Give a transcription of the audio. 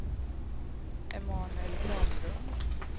Emanuel Granlund